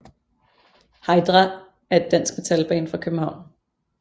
Heidra er et dansk metalband fra København